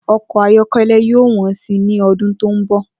O̩kò̩ ayó̩ké̩lé̩ yóò wó̩n si ní o̩dún tó ń bò̩